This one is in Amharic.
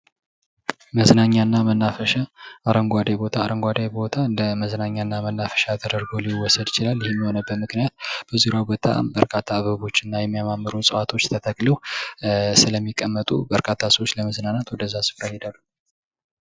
መዝናኛና መናፈሻ አረንጓዴ ቦታ እንደ መዝናኛና መናፈሻ ተደርጎ ሊወሰድ ይችላል። ይህም የሆነበት ምክንያት በዙሪያው በጣም በርካታ አበቦች እና የሚያማምሩ እፅዋቶች ተተክለው ስለሚቀመጡ በርካታ ሰዎች ለመዝናናት ወደዛ ስፍራ ይሄዳሉ።